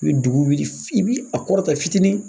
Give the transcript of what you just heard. I be dugu wuli f'i b'i a kɔrɔta fitinin.